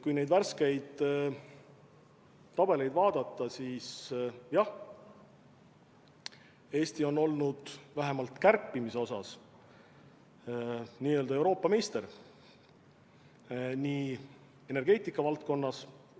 Kui neid värskeid tabeleid vaadata, siis jah, Eesti on olnud vähemalt kärpimise osas n-ö Euroopa meister, nii energeetika valdkonnas kui ka absoluutselt.